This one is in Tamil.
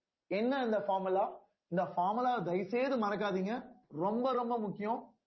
என்ன அந்த formula இந்த formula தயவு செய்து மறக்காதீங்க ரொம்ப ரொம்ப முக்கியம்